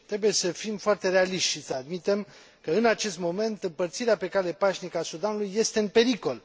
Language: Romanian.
Trebuie să fim foarte realiști și să admitem că în acest moment împărțirea pe cale pașnică a Sudanului este în pericol.